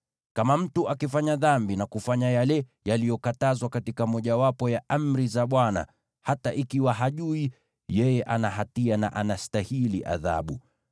“Kama mtu akifanya dhambi na kufanya yale yaliyokatazwa katika mojawapo ya amri za Bwana , hata ikiwa hajui, yeye ana hatia na anastahili adhabu.